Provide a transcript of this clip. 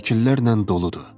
Şəkillərlə doludur.